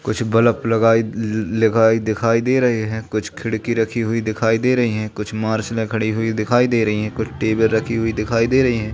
कुछ बलफ लगाये लगे दिखाई दे रहे हैं कुछ खिड़की रखी हुई दिखाई दे रही है कुछ मार्शलें खड़ी हुई दिखाई दे रही है कुछ टेबल रखी हुई दिखाई दे रही है।